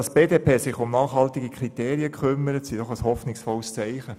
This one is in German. Dass sich die BDP um nachhaltige Kriterien kümmert, ist doch ein positives Zeichen!